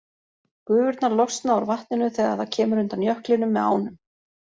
Gufurnar losna úr vatninu þegar það kemur undan jöklinum með ánum.